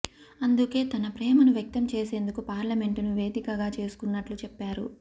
అందుకే తన ప్రేమను వ్యక్తం చేసేందుకు పార్లమెంటును వేదికగా చేసుకున్నట్లు చెప్పారు